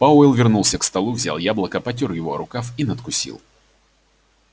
пауэлл вернулся к столу взял яблоко потёр его о рукав и надкусил